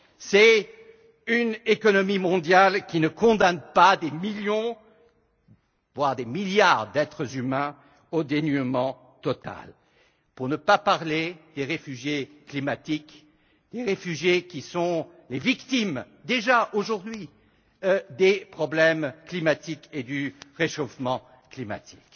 C'est une économie mondiale qui ne condamne pas des millions, voire des milliards, d'êtres humains dans un total dénuement, pour ne pas parler des réfugiés climatiques, les réfugiés qui sont les victimes, déjà aujourd'hui, des problèmes climatiques et du réchauffement climatique.